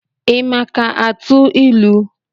Ị maka atụ ilu?